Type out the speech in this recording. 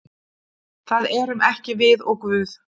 Það erum ekki við og Guð.